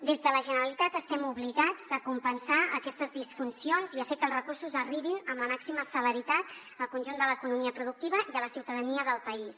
des de la generalitat estem obligats a compensar aquestes disfuncions i a fer que els recursos arribin amb la màxima celeritat al conjunt de l’economia productiva i a la ciutadania del país